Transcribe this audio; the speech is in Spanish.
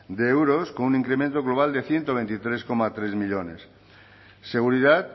de euros con un incremento global de ciento veintitrés coma tres millónes seguridad